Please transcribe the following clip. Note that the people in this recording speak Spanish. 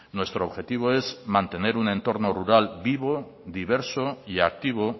nuestro objetivo es mantener un entorno rural vivo diverso y activo